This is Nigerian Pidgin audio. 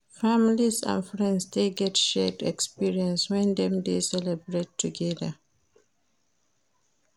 Families and friends de get shared experience when dem de celebrate together